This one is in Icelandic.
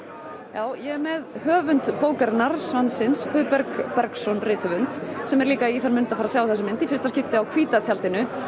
já ég er með höfund bókarinnar Svansins Guðberg Bergsson rithöfund sem er líka í þann mund að fara að sjá þessa mynd í fyrsta skipti á hvíta tjaldinu